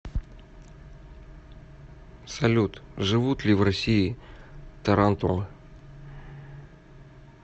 салют живут ли в россии тарантулы